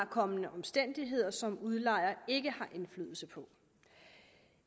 kommende omstændigheder som udlejer ikke har indflydelse på